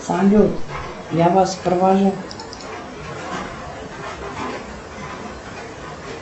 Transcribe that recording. салют я вас провожу